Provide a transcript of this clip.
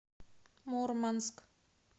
мурманск